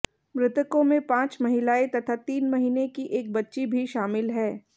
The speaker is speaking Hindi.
मृतकों में पांच महिलाएं तथा तीन महीने की एक बच्ची भी शामिल है